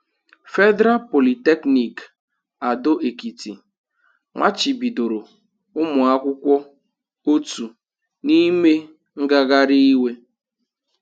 Federal Polytechnic Ado Ekiti machibidoro ụmụ akwụkwọ otu n'ime ngagharị iwe.